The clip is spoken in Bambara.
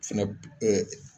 Finɛ be ɛɛ